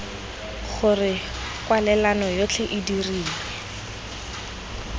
gore kwalelano yotlhe e dirilwe